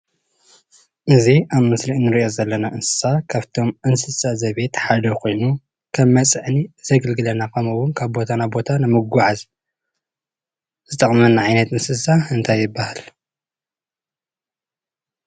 እዚ ኣብ ምስሊ እንሪኦ ዘለና እንስሳ ካፍቶም እንስሳ ዘቤት ሓደ ኾይኑ ከም መፅዓኒ ዘገልግለና ከምኡ እውን ካብ ቦታ ናብ ቦታ ንምጉዓዝ ዝጠቕመና ዓይነት እንስሳ እንታይ ይባሃል?